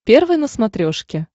первый на смотрешке